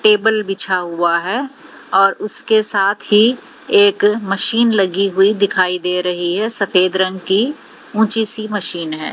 Table बिछा हुआ है और उसके साथ ही एक मशीन लगी हुई दिखाई दे रही है सफेद रंग की ऊंची सी मशीन है।